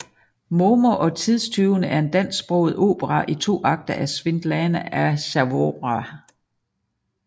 Momo og tidstyvene er en dansksproget opera i to akter af Svitlana Azarova